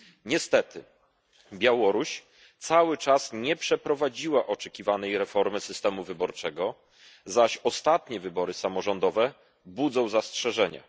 Niestety Białoruś cały czas nie przeprowadziła oczekiwanej reformy systemu wyborczego, zaś ostatnie wybory samorządowe budzą zastrzeżenia.